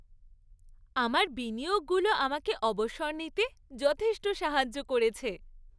আমার বিনিয়োগগুলো আমাকে অবসর নিতে যথেষ্ট সাহায্য করেছে।